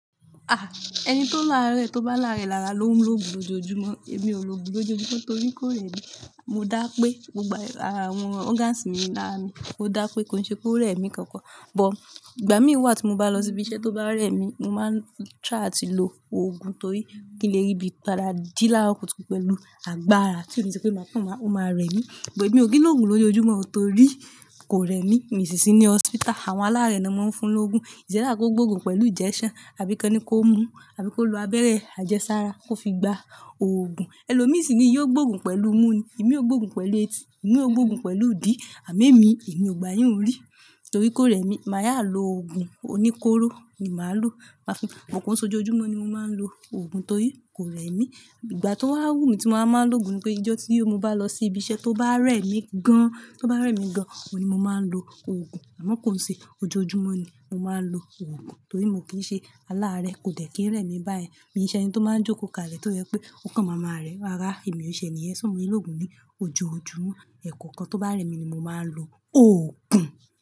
Ah! Ẹni tó láàárẹ̀ tó bá làárẹ̀ lára ló ń lo òògùn lójoojúmọ́. Èmi ò lo òògùn lójoojúmọ́ torí kò rẹ̀ mí. Mo dá pé gbogbo ara wọn, organs mi làrá mi. Mo dá pé kò ṣe pé ó rẹ̀ mí kankan. But, ìgbà mí wá tí mo bá lọ sí ibi iṣẹ́ tó bá rẹ̀ mí, mo máa ń try àti lo òògùn torí kí n lè rí bí padà jí lárọ kùtù pẹ̀lú agbára. Tío ni ṣe pé máa kọ̀n máa, o máa rẹ̀ mí. Ṣùgbọ́n èmi ò kín lò òògùn lójoojúmọ́ o torí kò rẹ̀ mí. Mi ṣì sí ní hospital, àwọn aláàárẹ̀ ni wọ́n máa ń fún lóògùn. It's either kò gbóògùn pẹ̀lú injection, àbí kọ́n ni kó mú, àbí kó lo abẹ́rẹ́ àjẹsára kó fi gba òògùn. Ẹ̀lo mi sì ni yóò gbóògùn pẹ̀lú mú ní, èmi ò gbóògùn pẹ̀lú etí, èmi ò gbóògùn pẹ̀lú idì. Àmọ̀ émi, èmi ò gbayìún rí torí kò rẹ̀ mí. Màá yá lo òògùn oníkóró ni màá lò. Màá fi, but kọ̀n se ojojúmọ́ ni mo máa ń lo òògùn torí kò rẹ̀ mí. Ìgbà tó wà wù mí tí mo máa ń lo òògùn ni pé ijọ́ tí mo bá lọ sí ibi iṣẹ́ tó bá rẹ̀ mí gan, tó bá rẹ̀ mí gan, oun ni mo máa ń lo òògùn. Àmọ́ kòn ṣe ojoojúmọ́ ni mo máa ń lo òògùn torí mo kì í ṣe aláàárẹ̀, kò dẹ̀ kí ń rẹ̀ mí báyẹn. Èmi ń ṣe ẹni tó máa ń jókòó kalẹ̀ tó jẹ́ pé o kàn máa ma rẹ̀, rara èmi ò ṣe ẹ̀niyẹ́ so. Mo ílò òògùn ní ojoojúmọ́. Ẹ̀kọ̀kan tó bá rẹ̀ mi ni mo máa ń lo òògùn.